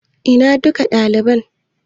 Ina dukkan dalibai?